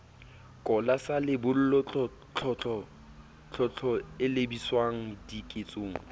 kola sa lebollo tlotlo elebiswangdiketsong